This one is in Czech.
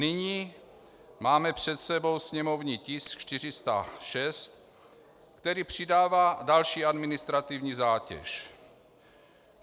Nyní máme před sebou sněmovní tisk 406, který přidává další administrativní zátěž.